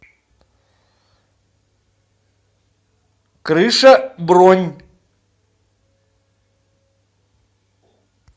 крыша бронь